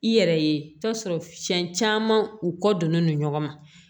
I yɛrɛ ye i bi taa sɔrɔ siɲɛ caman u kɔ donnen don ɲɔgɔn na